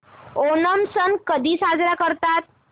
ओणम सण कधी साजरा करतात